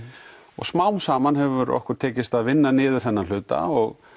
og smám saman hefur okkur tekist að vinna niður þennan hluta og